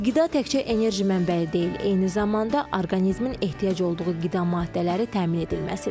Qida təkcə enerji mənbəyi deyil, eyni zamanda orqanizmin ehtiyac olduğu qida maddələri təmin edilməsidir.